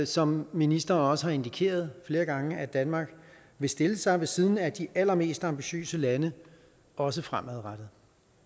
som ministeren også har indikeret flere gange at danmark vil stille sig ved siden af de allermest ambitiøse lande også fremadrettet